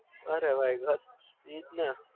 અરે ભાઈ બસ ઇજ ને